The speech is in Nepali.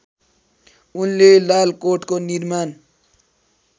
उनले लालकोटको निर्माण